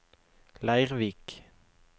Leirvik